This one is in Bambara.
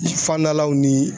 Fandalaw ni